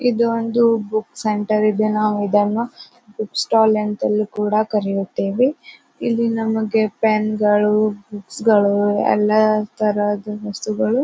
ಇದು ಒಂದು book centre ಇದೆ. ನಾವು ಇದನ್ನು ಬುಕ್ ಸ್ಟಾಲ್ ಎಂತಲೂ ನಾವು ಕರೆಯುತ್ತೇವೆ. ಇಲ್ಲಿ ನಮಗೆ ಪೆನ್ಗಳು ಬುಕ್ ಗಳು ಎಲ್ಲ ತರಹದ ವಸ್ತುಗಳು--